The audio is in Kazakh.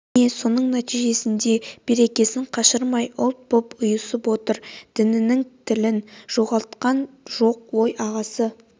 міне соның нәтижесінен де берекесін қашырмай ұлт боп ұйысып отыр дінін тілін жоғалтқан жоқ ой ағасы